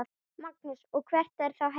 Magnús: Og hvert þá helst?